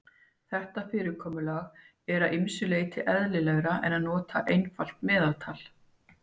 Þetta fyrirkomulag er að ýmsu leyti eðlilegra en að nota einfalt meðaltal.